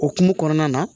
Okumu kɔnɔna na